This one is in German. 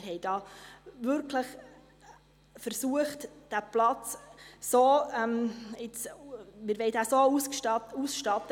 Wir haben da wirklich versucht, diesen Platz so auszustatten: